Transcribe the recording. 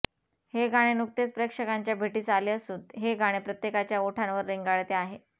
हे गाणे नुकतेच प्रेक्षकांच्या भेटीस आले असून हे गाणे प्रत्येकाच्या ओठांवर रेंगाळते आहे